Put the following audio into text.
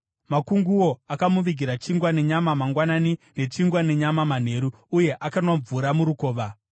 Makunguo akamuvigira chingwa nenyama mangwanani, nechingwa nenyama manheru, uye akanwa mvura murukova.